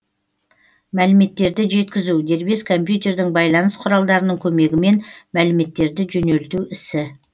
мәліметтерді жеткізу дербес компьютердің байланыс құралдарының көмегімен мәліметтерді жөнелту ісі